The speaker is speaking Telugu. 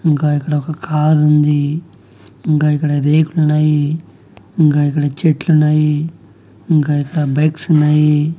ఇంగా ఇక్కడ ఒక కారు ఉంది ఇంగా ఇక్కడ రేకులు ఉన్నాయి ఇంగా ఇక్కడ చెట్లు ఉన్నాయి ఇంగా ఇక్కడ బైక్స్ ఉన్నాయి.